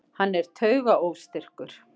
Hann er taugaóstyrkur.